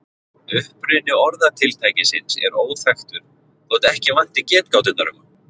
Uppruni orðatiltækisins er óþekktur þótt ekki vanti getgáturnar um hann.